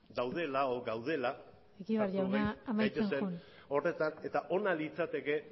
daudela edo gaudela egibar jauna amaitzen joan gaitezen horretan eta ona litzateke